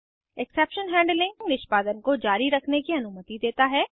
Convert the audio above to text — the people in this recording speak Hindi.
एक्सेप्शन हैंडलिंग निष्पादन को जारी रखने की अनुमति देता है